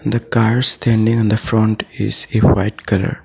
the car standing on the front is in white colour.